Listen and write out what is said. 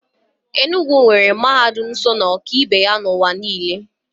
Enugwu nwere mahadum so na ọka ibe n'ụwa niile.